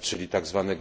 czyli do tzw.